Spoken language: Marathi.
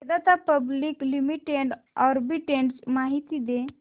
वेदांता पब्लिक लिमिटेड आर्बिट्रेज माहिती दे